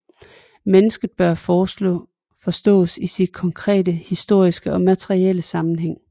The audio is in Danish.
Mennesket bør forstås i sin konkret historiske og materielle sammenhæng